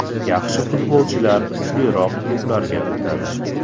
Yaxshi futbolchilar kuchliroq klublarga o‘tadi.